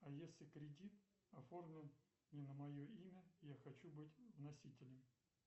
а если кредит оформлен не на мое имя я хочу быть носителем